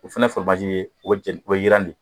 O fana ye yiran de